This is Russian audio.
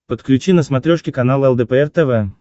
подключи на смотрешке канал лдпр тв